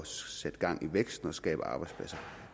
sætte gang i væksten og skabe arbejdspladser